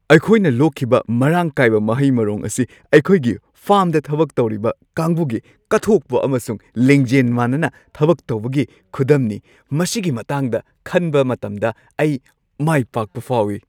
ꯑꯩꯈꯣꯏꯅ ꯂꯣꯛꯈꯤꯕ ꯃꯔꯥꯡ ꯀꯥꯏꯕ ꯃꯍꯩ-ꯃꯔꯣꯡ ꯑꯁꯤ ꯑꯩꯈꯣꯏꯒꯤ ꯐꯥꯔꯝꯗ ꯊꯕꯛ ꯇꯧꯔꯤꯕ ꯀꯥꯡꯕꯨꯒꯤ ꯀꯠꯊꯣꯛꯄ ꯑꯃꯁꯨꯡ ꯂꯤꯡꯖꯦꯜ ꯃꯥꯟꯅꯅ ꯊꯕꯛ ꯇꯧꯕꯒꯤ ꯈꯨꯗꯝꯅꯤ꯫ ꯃꯁꯤꯒꯤ ꯃꯇꯥꯡꯗ ꯈꯟꯕ ꯃꯇꯝꯗ ꯑꯩ ꯃꯥꯏꯄꯥꯛꯄ ꯐꯥꯎꯏ꯫